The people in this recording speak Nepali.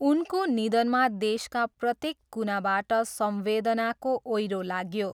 उनको निधनमा देशका प्रत्येक कुनाबाट संवेदनाको ओइरो लाग्यो।